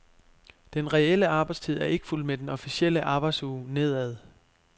Den reelle arbejdstid er ikke fulgt med den officielle arbejdsuge nedad.